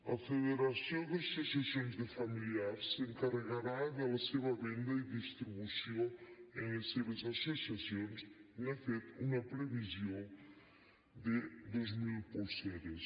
la federació d’associacions de familiars s’encarregarà de la seva venda i distribució en les seves associacions n’ha fet una previsió de dos mil polseres